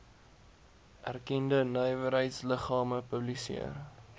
erkende nywerheidsliggame publiseer